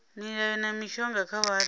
mihayo na mishonga kha vhathu